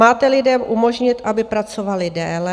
Máte lidem umožnit, aby pracovali déle.